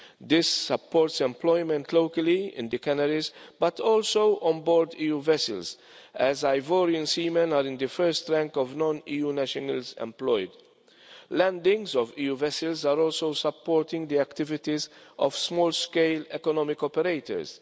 This supports employment locally in the canneries, but also on board EU vessels as Ivorian seamen are in the first rank of non-EU nationals employed. Landings of EU vessels are also supporting the activities of small-scale economic operators.